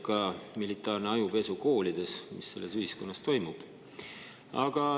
Ka militaarne ajupesu koolides näitab, mis selles ühiskonnas toimub.